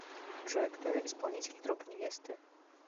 джой кто исполнитель труп невесты